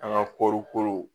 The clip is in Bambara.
An ka kɔɔri kolo